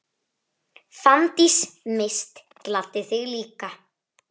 Fanndís Mist gladdi þig líka.